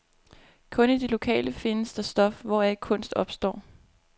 Kun i det lokale findes det stof, hvoraf kunst opstår.